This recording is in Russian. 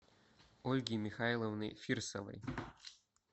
ольги михайловны фирсовой